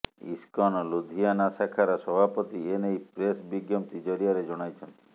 ISKCON Ludhiana ଶାଖାର ସଭାପତି ଏନେଇ ପ୍ରେସ ବିଜ୍ଞପ୍ତି ଜରିଆରେ ଜଣାଇଛନ୍ତି